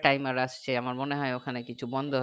timer আসছে আমার মনে হয় ওখানে কিছু বন্দ